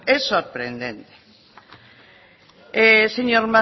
es sorprendente señor